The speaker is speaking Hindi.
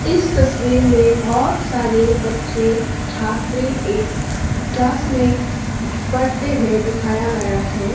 इस तस्वीर में बहोत सारे बच्चे छात्र एक क्लास में पढ़ते हुए दिखाया गया है।